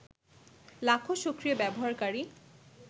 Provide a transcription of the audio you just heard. লাখো সক্রিয় ব্যবহারকারী